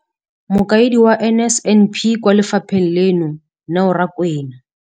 Mokaedi wa NSNP kwa lefapheng leno, Neo Rakwena,